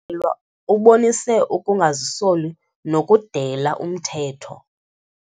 lwa ubonise ukungazisoli nokudela umthetho.